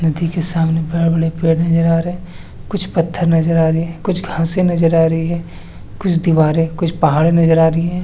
नदी के सामने बड़ा -बड़ा पेड़ नजर आ रहे है कुछ पत्थर नजर आ रहे है कुछ घासे नजर आ रही है कुछ दीवारे कुछ पहाड़े नजर आ रही हैं।